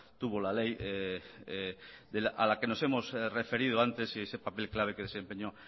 tuvo la ley a la que nos hemos referido antes y ese papel clave que desempeñó